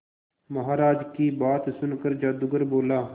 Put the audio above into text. महाराज की बात सुनकर जादूगर बोला